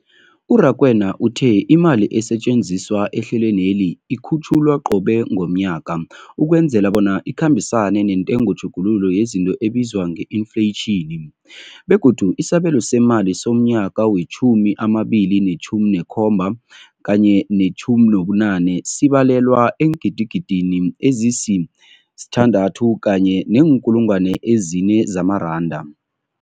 U-Rakwena uthe imali esetjenziswa ehlelweneli ikhutjhulwa qobe ngomnyaka ukwenzela bona ikhambisane nentengotjhuguluko yezinto ebizwa nge-infleyitjhini, begodu isabelo seemali somnyaka we-2017 kanye ne-18 sibalelwa eengidigidini ezisi-6.4 zamaranda.